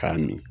K'a min